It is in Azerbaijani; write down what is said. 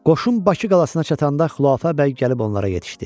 Qoşun Bakı qalasına çatanda Xülafə bəy gəlib onlara yetişdi.